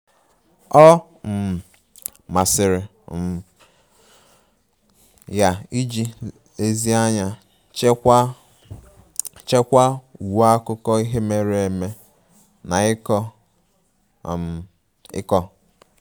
Ọ um masịrị um ya iji nlezianya chekwaa chekwaa uwe akụkọ ihe mere eme na iko um iko